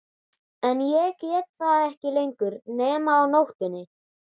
En ég get það ekki lengur nema á nóttunni.